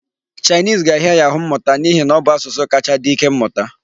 Chinese ga-ahịa ya ahụ mmụta n'ihi na ọ bụ asụsụ kacha dị ike mmụta.